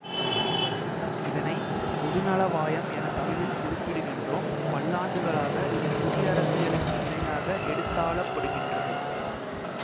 இதனை பொதுநலவாயம் என தமிழில் குறிப்பிடுகின்றோம் பல்லாண்டுகளாக இது குடியரசியலுக்கு இணையாக எடுத்தாளப்படுகின்றது